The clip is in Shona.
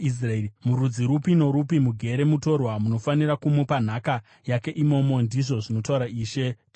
Murudzi rupi norupi mugere mutorwa, munofanira kumupa nhaka yake imomo,” ndizvo zvinotaura Ishe Jehovha.